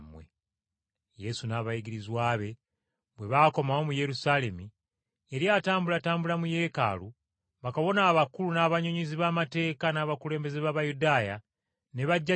Yesu n’abayigirizwa be bwe baakomawo mu Yerusaalemi yali atambulatambula mu Yeekaalu, bakabona abakulu n’abannyonnyozi b’amateeka n’abakulembeze b’Abayudaaya ne bajja gy’ali